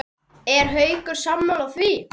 Er Haukur sammála því?